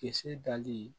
Kisɛ dali